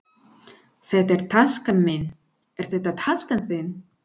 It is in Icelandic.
Þetta er taskan mín. Er þetta taskan þín?